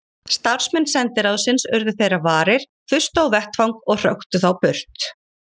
Starfsmenn sendiráðsins urðu þeirra varir, þustu á vettvang og hröktu þá burt.